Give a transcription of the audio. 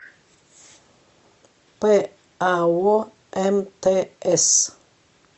пао мтс